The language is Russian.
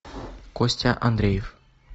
костя андреев